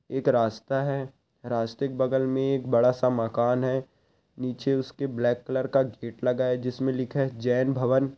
एक रास्ता है रास्ते के बगल मे बड़ा सा मकान है निचे उसके ब्लैक कलर का गेट लगा है जिसमें लिखा है जैन भवन।